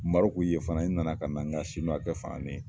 Mɔrɔku ye fana, n nana ka na nka siniwakɛ